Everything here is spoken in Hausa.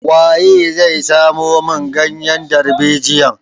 Waye zai samo min ganyen darbejiyan?